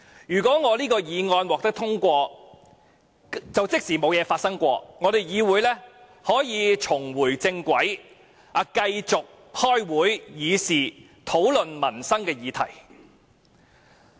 如果我的議案獲得通過，即沒有事情發生，議會可以重回正軌，繼續開會議事，討論民生議題。